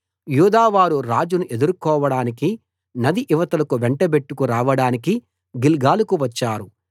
యూదావారు రాజును ఎదుర్కొవడానికి నది ఇవతలకు వెంటబెట్టుకు రావడానికి గిల్గాలుకు వచ్చారు